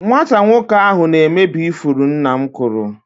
Nwata nwoke ahụ na-emebi ifuru nna m kụrụ.